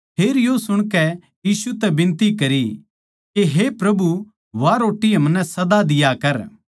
फेर यो सुणकै यीशु तै बिनती करी के हे प्रभु वा रोट्टी हमनै सदा दिया कर